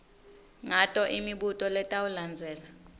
ngato imibuto letawulandzela